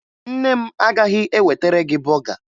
Nne m agaghị ewetere gị bọga